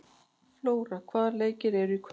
Flóra, hvaða leikir eru í kvöld?